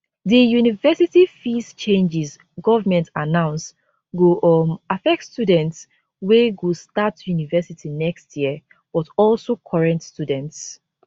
di university fees changes government announce go um affect students wey go start university next year but also current students